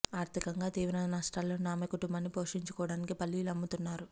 ఆర్థికంగా తీవ్ర నష్టాల్లో ఉన్న ఆమె కుటుంబాన్ని పోషించుకోవటానికి పల్లీలు అమ్ముతున్నారు